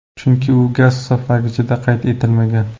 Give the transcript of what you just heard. Chunki u gaz hisoblagichda qayd etilmagan.